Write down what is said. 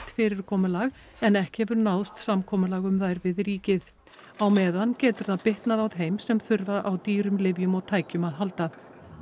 fyrirkomulag en ekki hefur náðst samkomulag um þær við ríkið á meðan getur það bitnað á þeim sem þurfa á dýrum lyfjum og tækjum að halda